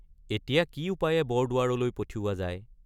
এতিয়া কি উপায়ে বৰদুৱাৰলৈ পঠিওৱা যায়?